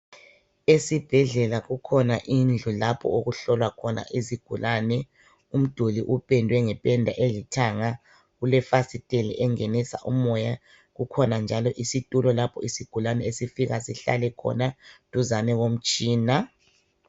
Esibhedlela kukhona indlu lapho okuhlolwa khona izigulane. Umduli upendwe ngependa elithanga ulefasiteli engenisa umoya kukhona njalo isitulo lapho isigulane esifika sihlale khona duzane komtshina.